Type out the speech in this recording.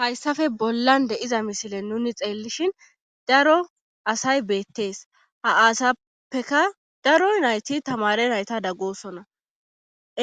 Hayssafe bollan deiza misile nuni xeellishin daro asay beettees ha aasappeka daro nayti tamare nayta daggosona